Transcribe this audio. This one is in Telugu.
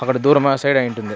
అక్కడ దూరం ఆ సైడ్ అయుంటుంది.